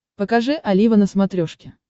покажи олива на смотрешке